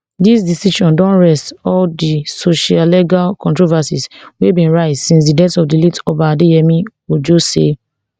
dis decision don rest all di sociolegal controversies wey bin rise since di death of di late oba adeyemi ojo say